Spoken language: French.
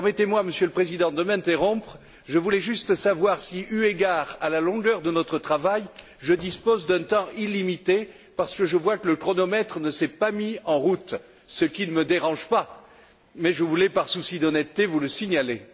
Permettez moi, Monsieur le Président, de m'interrompre, je voulais juste savoir si, eu égard à la longueur de notre travail, je dispose d'un temps illimité, parce que je vois que le chronomètre ne s'est pas mis en route, ce qui ne me dérange pas, mais je voulais, par souci d'honnêteté, vous le signaler.